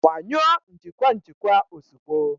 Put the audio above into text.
Gbanyụọ njikwa njikwa ozugbo!